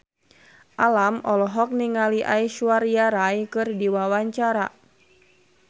Alam olohok ningali Aishwarya Rai keur diwawancara